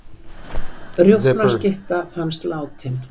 Rjúpnaskytta fannst látin